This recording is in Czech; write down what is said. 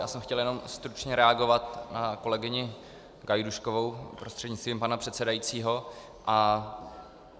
Já jsem chtěl jenom stručně reagovat na kolegyni Gajdůškovou prostřednictvím pana předsedajícího.